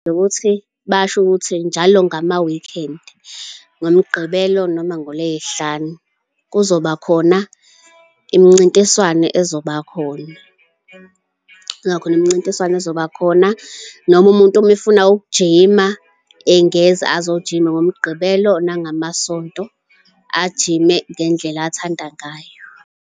Wukuthi basho ukuthi njalo ngama-weekend ngoMgqibelo noma ngoLey'hlanu kuzobakhona imincintiswano ezobakhona, kuzoba khona imncintiswano ezobakhona noma umuntu uma efuna ukujima engeza azojima ngoMgqibelo, nangamaSonto, agijime ngendlela athanda ngayo.